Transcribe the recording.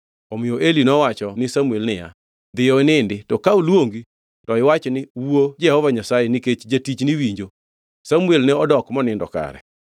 Omiyo Eli nowacho ni Samuel niya, “Dhiyo inindi, to ka oluongi to iwach ni, ‘Wuo Jehova Nyasaye, nikech jatichni winjo.’ ” Samuel ne odok monindo kare.